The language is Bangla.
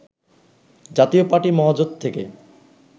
জাতীয় পার্টি মহাজোট থেকে